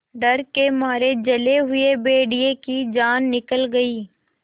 डर के मारे जले हुए भेड़िए की जान निकल गई